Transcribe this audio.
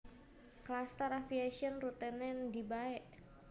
Klastar Aviation rutene ndi bae